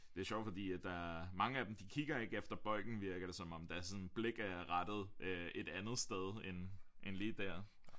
Det er sjovt fordi at der mange af dem de kigger ikke efter bolden virker det som om deres sådan blik er rettet øh et andet sted end lige dér